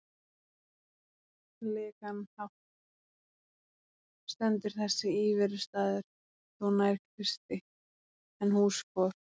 legan hátt stendur þessi íverustaður þó nær Kristi en hús for